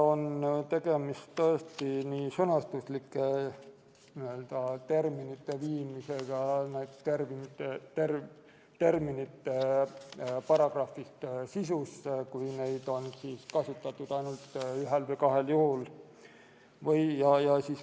On nii sõnastuslike terminite viimist terminite paragrahvist sisusse, kui neid on kasutatud ainult ühel või kahel juhul.